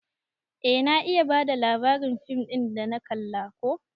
Eh na iya bada labarin fim dana kalla ko.